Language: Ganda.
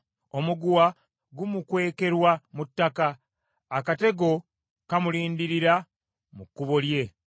Omuguwa gumukwekerwa mu ttaka; akatego kamulindirira mu kkubo lye.